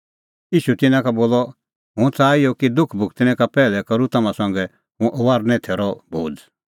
ईशू तिन्नां का बोलअ हुंह च़ाहा इहअ कि दुख भुगतणै का पैहलै करूं तम्हां संघै हुंह फसहे थैरो भोज़